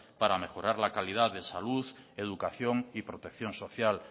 para mejorar la calidad de salud educación y protección social